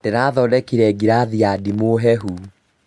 Ndĩrathondekire ngirathi ya ndimũ hehu